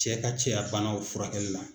Cɛ ka cɛya banaw furakɛli la.